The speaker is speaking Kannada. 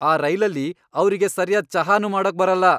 ಈ ರೈಲಲ್ಲಿ ಅವ್ರಿಗೆ ಸರ್ಯಾದ್ ಚಹಾನೂ ಮಾಡೋಕ್ ಬರಲ್ಲ!